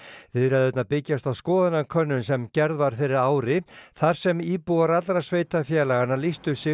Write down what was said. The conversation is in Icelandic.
viðræðurnar byggjast á skoðanakönnun sem gerð var fyrir ári þar sem íbúar allra sveitarfélaganna lýstu sig